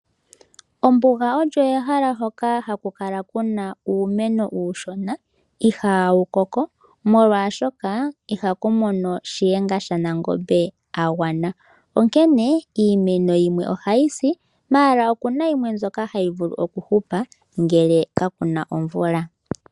Ombuga olyo ehala hoka haku kala kuna uumeno uushona ihawu koko molwaashoka ihaku mono shihenga shanangombe agwana, onkene iimeno yimwe ohayi si kakele, oku na yimwe hayi vulu okuhupa ngele ka kuna omvula.